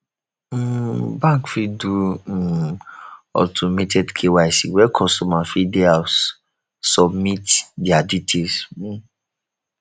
um bank fit do um automated kyc where customers fit dey house submit their details um